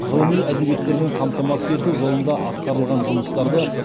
ғылыми әдебиеттермен қамтамасыз ету жолындағы атқарылған жұмыстарды